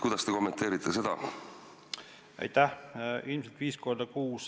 Kuidas te kommenteerite seda?